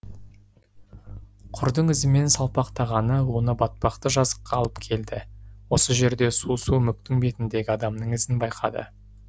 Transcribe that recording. құрдың ізімен салпақтағаны оны батпақты жазыққа алып келді осы жерде су су мүктің бетіндегі адамның ізін байқады